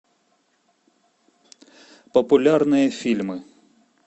популярные фильмы